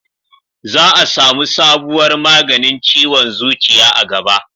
za a samu sabuwar maganin ciwon zuciya a gaba